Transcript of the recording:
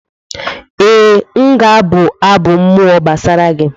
Ee, m ga-abụ abụ mmụọ gbasara gị